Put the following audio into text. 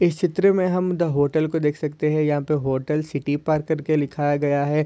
इस चित्र मे हम दा होटल को देख सकते है। या तो द होटल सिटी पार्क करके लिखाया गया है।